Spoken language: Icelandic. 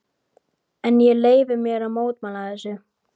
En ég leyfi mér að mótmæla þessu.